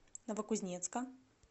новокузнецка